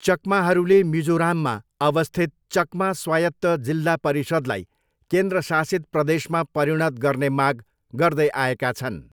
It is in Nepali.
चकमाहरूले मिजोराममा अवस्थित चकमा स्वायत्त जिल्ला परिषदलाई केन्द्रशासित प्रदेशमा परिणत गर्ने माग गर्दैआएका छन्।